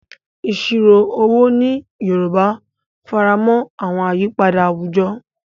Ìṣirò owó ní Yorùbá faramọ́ àwọn àyípadà àwùjọ,